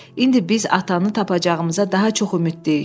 İndi biz atanı tapacağımıza daha çox ümidliyik.